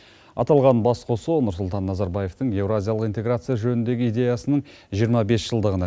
аталған басқосу нұрсұлтан назарбаевтың еуразиялық интеграция жөніндегі идеясының жиырма бес жылдығына